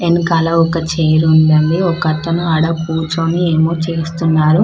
ఎనకాల ఒక చెర్ ఉంది అండి ఒకతను ఆడ కూర్చొని ఏమో చేస్తున్నారు --